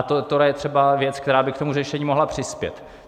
A tohle je třeba věc, která by k tomu řešení mohla přispět.